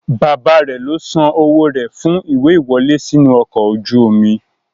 Bàbáa rẹ̀ ló san owó rẹ̀ fún ìwé ìwọlé sínú ọkọ̀ ojú omi.